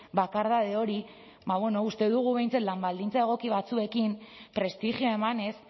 bakardade hori ba bueno uste dugu behintzat lan baldintza egoki batzuekin prestigioa emanez